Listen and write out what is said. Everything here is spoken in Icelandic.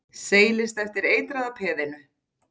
Seilist eftir eitraða peðinu.